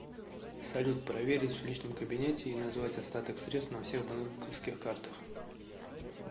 салют проверить в личном кабинете и назвать остаток средств на всех банковских картах